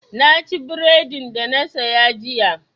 Na ci bredin da na saya jiya.